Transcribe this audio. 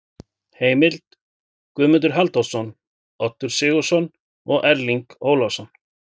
Heimild: Guðmundur Halldórsson, Oddur Sigurðsson og Erling Ólafsson.